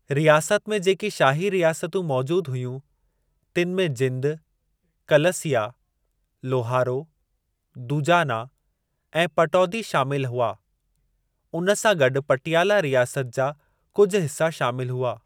रियासत में जेकी शाही रियासतूं मौजूदु हुयूं, तनु में जिंदु, कलसिया, लोहारो, दूजाना ऐं पटौदी शामिलु हुआ, उन सां गॾु पटियाला रियासत जा कुझ हिसा शामिलु हुआ।